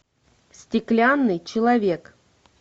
стеклянный человек